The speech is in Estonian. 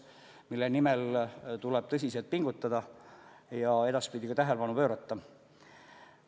Selles osas tuleb tõsiselt pingutada ja sellele ka edaspidi tähelepanu pöörata.